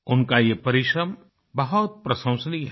उनका ये परिश्रम बहुत प्रशंसनीय है